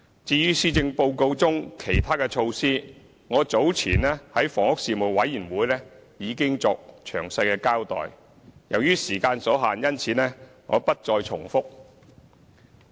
至於施政報告中其他的措施，我早前在房屋事務委員會已經作詳細的交代，由於時間所限，因此我不再重複。